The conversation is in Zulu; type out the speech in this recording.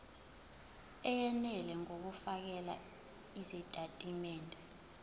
eyenele ngokufakela izitatimende